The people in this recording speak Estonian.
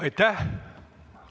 Aitäh!